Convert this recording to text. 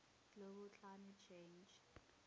global climate change